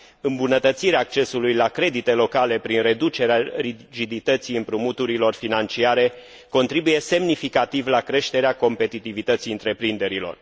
Îmbunătățirea accesului la credite locale prin reducerea rigidității împrumuturilor financiare contribuie semnificativ la creșterea competitivității întreprinderilor.